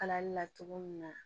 Kalali la cogo min na